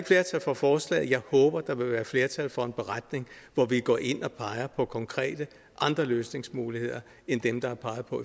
flertal for forslaget jeg håber at der vil være flertal for en beretning hvor vi går ind og peger på andre konkrete løsningsmuligheder end dem der er peget på